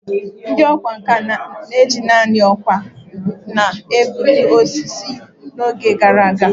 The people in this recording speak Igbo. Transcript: Ndị ọkwá nkà na-eji nanị nkwọ aka na-egbutu osisi n’oge gara aga